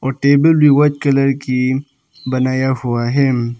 और टेबल भी white colour की बनाया हुआ है।